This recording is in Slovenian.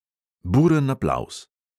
Buren aplavz.